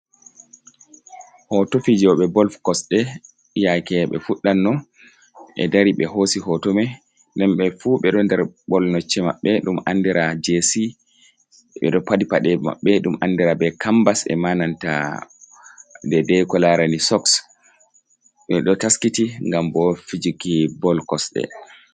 Hoto fijoɓe bol kosɗe yake ɓe fuɗdan no ɓe dari ɓe hosi hoto me nden ɓe fu ɓe ɗon nder bolnocce mabɓe ɗum andira jc, ɓeɗo paɗi paɗe maɓɓe ɗum andira be kambas e ma nanta dei dei ko larani soks, ɓe ɗo taskiti ngam bo fijiki bol kosɗe.